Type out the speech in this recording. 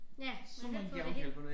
Ja man kan ikke få det hele